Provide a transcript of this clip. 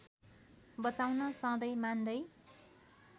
बचाउन सधैँ मान्दै